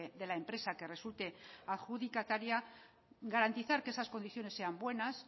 de la empresa que resulte adjudicataria garantizar que esas condiciones sean buenas